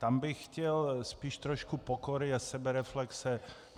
Tam bych chtěl spíš trošku pokory a sebereflexe.